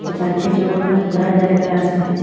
দুকানটির সামোনে খোলা জায়গা আসে।